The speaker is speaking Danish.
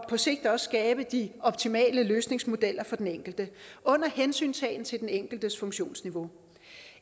på sigt også skabe de optimale løsningsmodeller for den enkelte under hensyntagen til den enkeltes funktionsniveau